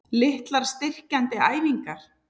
Litlar styrkjandi æfingar?